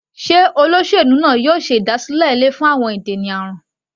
Sé olóṣèlú náà yóò ṣe ìdásílẹ̀ ilé fún ìdènà àrùn?